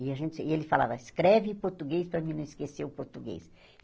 E a gente e ele falava, escreve português, para mim não esquecer o português.